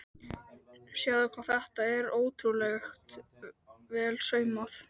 Sjáðu hvað þetta er ótrúlega vel saumað.